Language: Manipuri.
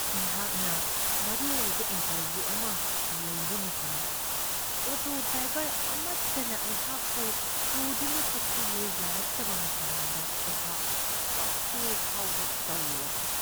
ꯑꯩꯍꯥꯛꯅ ꯃꯔꯨꯑꯣꯏꯕ ꯏꯟꯇꯔꯕ꯭ꯌꯨ ꯑꯃ ꯂꯩꯕ ꯃꯇꯝꯗ ꯑꯣꯇꯣ ꯗ꯭ꯔꯥꯏꯕꯔ ꯑꯃꯠꯇꯅ ꯑꯩꯍꯥꯛꯄꯨ ꯄꯨꯗꯨꯅ ꯆꯠꯄꯤꯌꯨ ꯌꯥꯔꯛꯇꯕ ꯃꯇꯝꯗ ꯑꯩꯍꯥꯛ ꯀꯞꯀꯦ ꯐꯥꯎꯕ ꯇꯧꯔꯨꯔꯕꯅꯤ ꯫